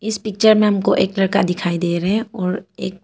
इस पिक्चर में हमको एक लड़का दिखाई दे रहे हैं और एक--